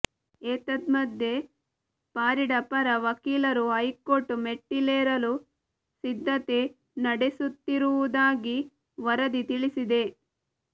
ಏತನ್ಮಧ್ಯೆ ಪಾರಿಡಾ ಪರ ವಕೀಲರು ಹೈಕೋರ್ಟ್ ಮೆಟ್ಟಿಲೇರಲು ಸಿದ್ಧತೆ ನಡೆಸುತ್ತಿರುವುದಾಗಿ ವರದಿ ತಿಳಿಸಿದೆ